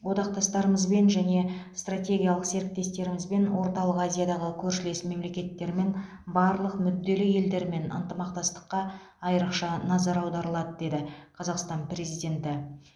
одақтастарымызбен және стртегиялық серіктестерімізбен орталық азиядағы көршілес мемлекеттермен барлық мүдделі елдермен ынтымақтастыққа айрықша назар аударылады деді қазақстан президенті